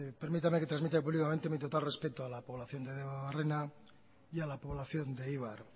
permítame que transmita públicamente mi total respeto a la población de debabarrena y a la población de eibar